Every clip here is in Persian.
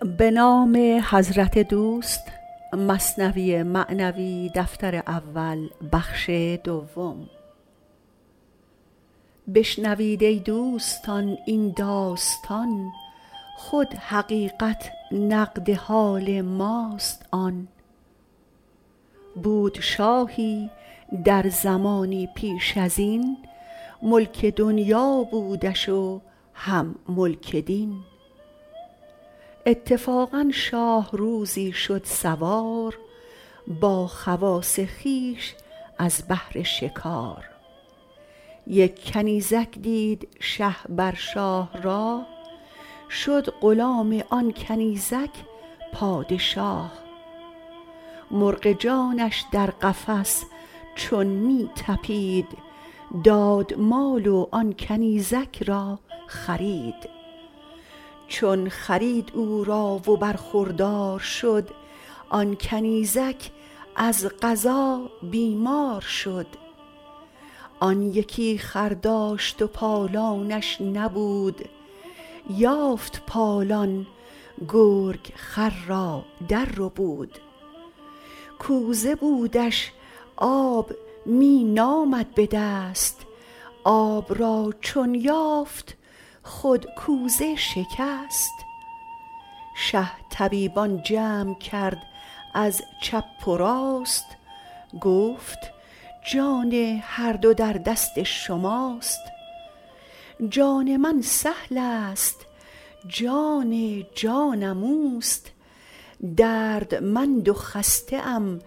بشنوید ای دوستان این داستان خود حقیقت نقد حال ماست آن بود شاهی در زمانی پیش ازین ملک دنیا بودش و هم ملک دین اتفاقا شاه روزی شد سوار با خواص خویش از بهر شکار یک کنیزک دید شه بر شاه راه شد غلام آن کنیزک پادشاه مرغ جانش در قفس چون می طپید داد مال و آن کنیزک را خرید چون خرید او را و برخوردار شد آن کنیزک از قضا بیمار شد آن یکی خر داشت پالانش نبود یافت پالان گرگ خر را در ربود کوزه بودش آب می نامد بدست آب را چون یافت خود کوزه شکست شه طبیبان جمع کرد از چپ و راست گفت جان هر دو در دست شماست جان من سهلست جان جانم اوست دردمند و خسته ام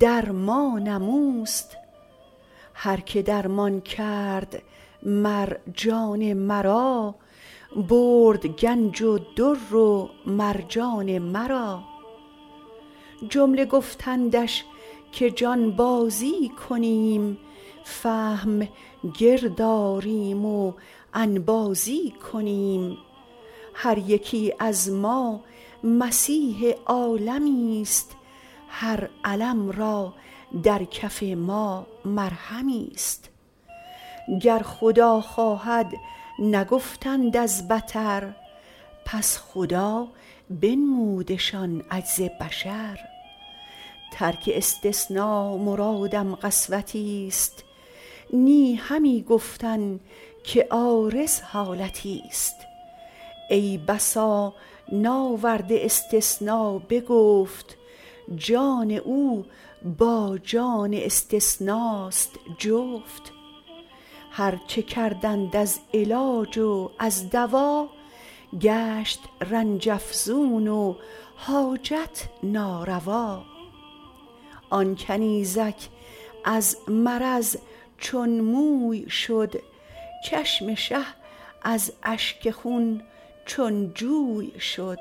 درمانم اوست هر که درمان کرد مر جان مرا برد گنج و در و مرجان مرا جمله گفتندش که جانبازی کنیم فهم گرد آریم و انبازی کنیم هر یکی از ما مسیح عالمیست هر الم را در کف ما مرهمیست گر خدا خواهد نگفتند از بطر پس خدا بنمودشان عجز بشر ترک استثنا مرادم قسوتی ست نه همین گفتن که عارض حالتی ست ای بسا ناورده استثنا به گفت جان او با جان استثناست جفت هرچه کردند از علاج و از دوا گشت رنج افزون و حاجت ناروا آن کنیزک از مرض چون موی شد چشم شه از اشک خون چون جوی شد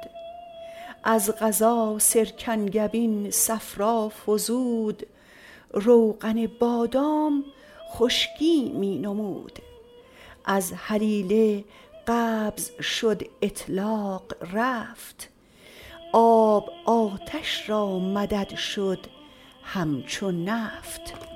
از قضا سرکنگبین صفرا فزود روغن بادام خشکی می نمود از هلیله قبض شد اطلاق رفت آب آتش را مدد شد همچو نفت